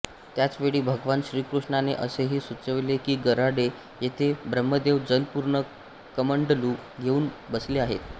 त्याच वेळी भगवान श्रीकृष्णाने असेही सुचविले की गराडे येथे ब्रह्मदेव जलपूर्ण कमंडलू घेऊन बसले आहेत